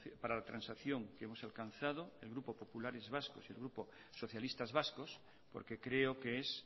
para la transacción que hemos alcanzado el grupo populares vascos y el grupo socialistas vascos porque creo que es